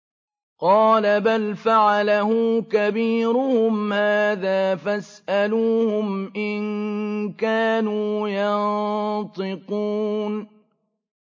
قَالَ بَلْ فَعَلَهُ كَبِيرُهُمْ هَٰذَا فَاسْأَلُوهُمْ إِن كَانُوا يَنطِقُونَ